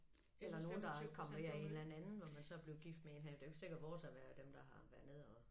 Eller nogen der er kommet hjem med en eller anden hvor man så er blevet gift med en her det jo ikke sikkert det vores har været dem der har været nede og